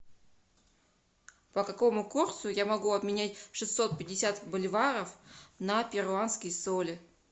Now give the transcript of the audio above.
по какому курсу я могу обменять шестьсот пятьдесят боливаров на перуанские соли